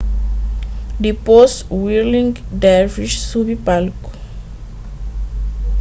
dipôs whirling dervishes subi palku